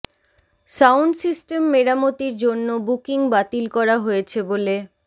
sound system মেরামতির জন্য booking বাতিল করা হয়েছে বলে